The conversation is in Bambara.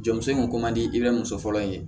Jɔn muso in kun man di i bɛ muso fɔlɔ in ye